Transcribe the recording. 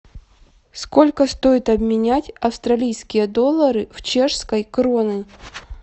сколько стоит обменять австралийские доллары в чешские кроны